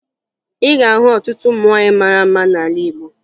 Ị ga-ahụ ọtụtụ ụmụ nwaanyị mara mma n'ala Igbo